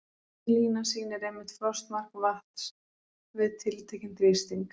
Þessi lína sýnir einmitt frostmark vatns við tiltekinn þrýsting.